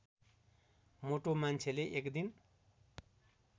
मोटो मान्छेले एकदिन